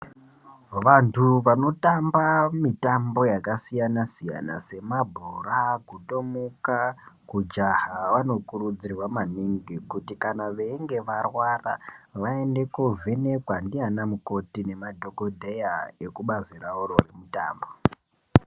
Vantu vanotamba mitambo yakasiyana-siyana semabhora, kutomuka, kujaha vanokurudzirwa maningi kuti kana veinge varwara vaende koovhenekwa ndiana mukoti nemadhogodheya ekubazi ravo remitambo.